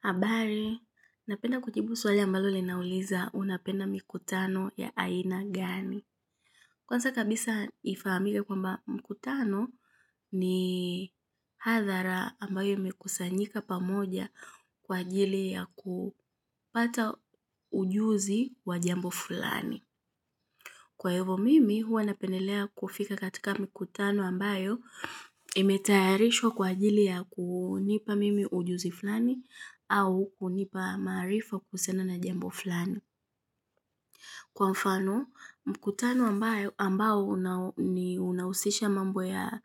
Habari, napenda kujibu swali ambalo linauliza unapenda mikutano ya aina gani. Kwanza kabisa ifahamike kwamba mkutano ni hadhara ambayo imekusanyika pamoja kwa ajili ya kupata ujuzi wa jambo fulani. Kwa hivyo mimi huwa napendelea kufika katika mikutano ambayo imetayarishwa kwa ajili ya kunipa mimi ujuzi fulani au kunipa maarifa kuhusiana na jambo fulani. Kwa mfano mkutano ambao unahusisha mambo ya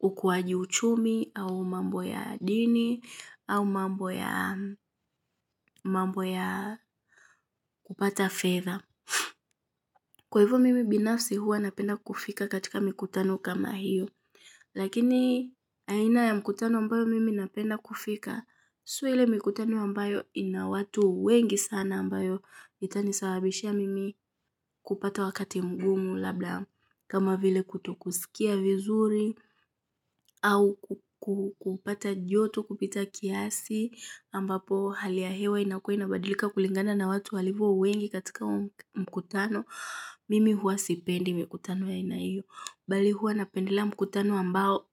ukuaji uchumi au mambo ya dini au mambo ya kupata fedha kwa hivyo mimi binafsi huwa napenda kufika katika mikutano kama hiyo, lakini aina ya mikutano ambayo mimi napenda kufika, sio ile mikutano ambayo ina watu wengi sana ambayo itani sababishia mimi kupata wakati mgumu labda kama vile kutokusikia vizuri au kupata joto kupita kiasi ambapo hali ya hewa inakuwa inabadilika kulingana na watu walivyo wengi katika mkutano. Mimi huwa sipendi mikutano ya aina hiyo. Bali huwa napendelea mkutano ambao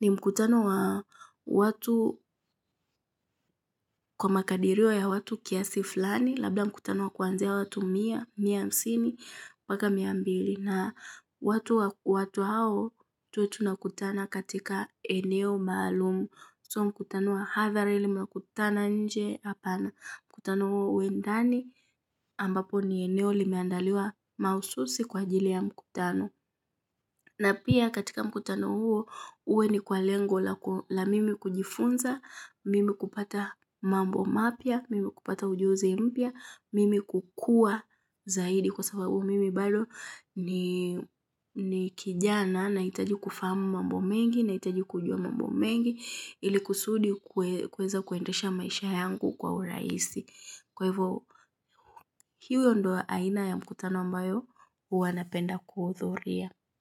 ni mkutano wa watu kwa makadirio ya watu kiasi fulani. Labda mkutano wa kwanzia watu mia, mia hamsini, mpaka mia mbili. Na watu hao tuwe tunakutana katika eneo maalumu. Sio mkutano wa hadhara ile mnakutana nje hapana. Mkutano huo uwe ndani ambapo ni eneo limeandaliwa mahususi kwa ajili ya mkutano. Na pia katika mkutano huo uwe ni kwa lengo la mimi kujifunza, mimi kupata mambo mapya, mimi kupata ujuzi mpya, mimi kukua zaidi kwa sababu mimi bado ni ni kijana nahitaji kufahamu mambo mengi na hitaji kujua mambo mengi ili kusudi kuweza kuendesha maisha yangu kwa urahisi. Kwa hivyo hiyo ndio aina ya mkutano ambayo huwa napenda kuhudhuria.